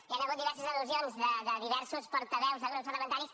hi han hagut diverses al·lusions de diversos portaveus de grups parlamentaris